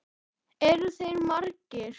Eru þeir margir?